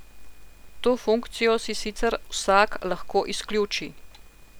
To funkcijo si sicer vsak lahko izključi.